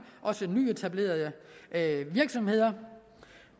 også nyetablerede virksomheder